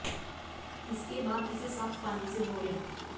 इसके बाद इसे साफ पानी से धो लें